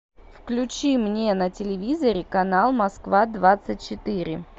включи мне на телевизоре канал москва двадцать четыре